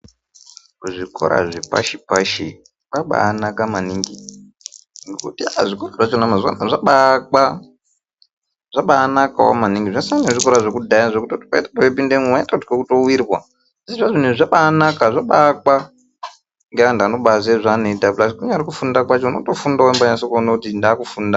Kuzvikora zvepashi pashi kwabaanaka maningi ngekuti aaa zvikora zvacho mazuwa anaya zvabaa aka zvabaanakawo maningi zvasiyana nezvikora zvekudhaya zvekuti waitoti wepindemwo waitotke kutowirwa asi zvazvinezvi zvabaanaka zvabaakwa ngeantu anoziye zvaanoita pulas kunyambori kufunda kwacho unotofunda weimbanyase kuone kuti ndakufunda.